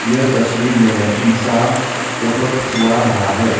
यह तस्वीर में इंसान फोटो खिंचवा रहा है।